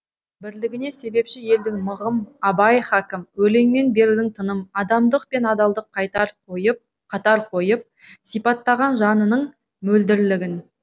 бірлігіне себепші елдің мығым абай хакім өлеңмен бердің тыным адамдық пен адалдық қатар қойып сипаттаған жанының мөлдірлігін